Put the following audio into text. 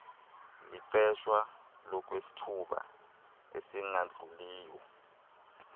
liqeshwa ngokwesithuba esingadluliyo